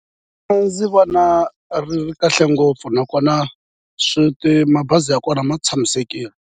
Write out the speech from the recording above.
A ndzi vona ri ri kahle ngopfu nakona swi mabazi ya kona ma tshamisekile.